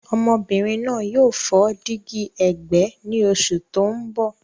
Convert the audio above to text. Ọmọbìnrin náà yóò fọ́ dígí ẹ̀gbẹ́ ní oṣù tó ń bọ̀.